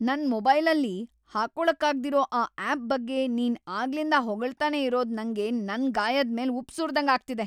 ನನ್‌ ಮೊಬೈಲಲ್ಲಿ ಹಾಕೊಳಕ್ಕಾಗ್ದಿರೋ ಆ ಆಪ್‌ ಬಗ್ಗೆ ನೀನ್ ಆಗ್ಲಿಂದ ಹೊಗಳ್ತಾನೇ ಇರೋದು ನಂಗೆ ನನ್ ಗಾಯದ್‌ ಮೇಲ್‌ ಉಪ್ಪ್‌ ಸುರ್ದಂಗ್‌ ಆಗ್ತಿದೆ.